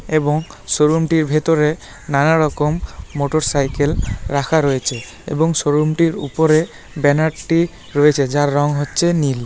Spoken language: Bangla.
এবং শোরুমটির ভেতরে নানারকম মোটরসাইকেল রাখা রয়েছে এবং শোরুম - টির উপরে ব্যানার - টি রয়েছে যার রং হচ্ছে নীল।